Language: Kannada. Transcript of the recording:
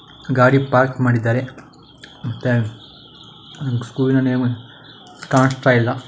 ಗಡಿ ಪಾರ್ಕ್ ಮಾಡಿದ್ದರೆ ಮತ್ತೆ ಸ್ಕೂಲ್ನ ನೇಮ್ ಕಾಣಸ್ತಾ ಇಲ್ಲ.